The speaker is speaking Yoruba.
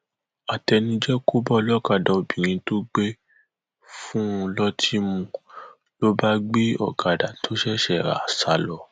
àtẹnujẹ kò bá ọlọkadà obìnrin tó gbé fún un lọtì mu ló bá gbé ọkadà tó ṣẹṣẹ rà sá lọ